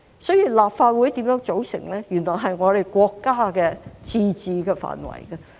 所以，立法會怎樣組成，原來是國家的自治範圍。